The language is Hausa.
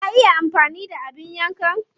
Ka iya amfani da abin yankan?